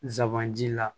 Zan ji la